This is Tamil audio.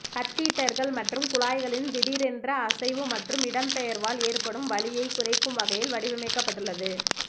கத்தீட்டர்கள் மற்றும் குழாய்களின் திடீரென்ற அசைவு மற்றும் இடம்பெயர்வால் ஏற்படும் வலியைக் குறைக்கும் வகையில் வடிவமைக்கப்பட்டுள்ளது